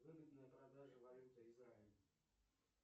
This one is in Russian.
выгодная продажа валюты израиль